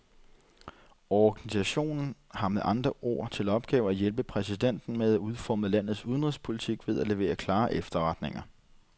Organisationen har med andre ord til opgave at hjælpe præsidenten med at udforme landets udenrigspolitik ved at levere klare efterretninger.